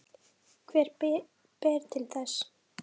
Hvað ber til þess?